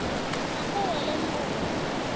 afa o a lemoga gore